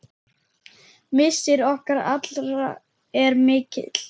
Missir okkar allra er mikill.